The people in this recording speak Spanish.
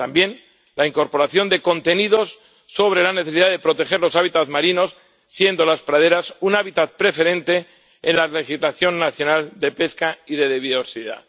También la incorporación de contenidos sobre la necesidad de proteger los hábitats marinos, siendo las praderas un hábitat preferente en la legislación nacional de pesca y de biodiversidad.